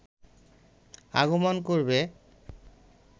আগমন করবে